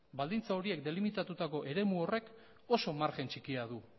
baldintza horiek delimitatutako eremu horrek oso margen txikia du